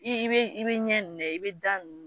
I i be i be ɲɛ in lajɛ i be da ninnu